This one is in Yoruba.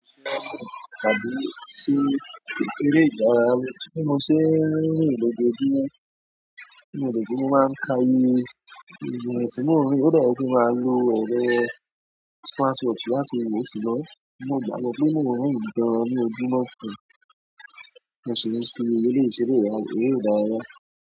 Àdí sí èrè ìdárayá, tí mo ṣe lójoojúmọ́ lójoojúmọ́ máa ń ka iye irn tí mo rí, ó dára kí n máa lo ẹrọ smartwatch láti wò ó si lọ́wọ́, mo gbàgbọ́ pé nínú ìdánilójúmọ́ mi, mo ṣì ní fi ilé ìṣeré rí dárayá.